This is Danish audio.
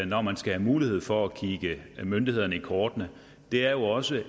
når man skal have mulighed for at kigge myndighederne i kortene er jo også